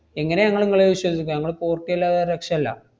എങ്ങനെയാ ങ്ങള് മ്മളെ വിശ്വസിപ്പിക്കുക? ~മ്മള് port ചെയ്യല്ലാതെ വേറെ രക്ഷയില്ല.